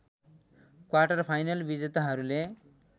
quarter-final विजेताहरूले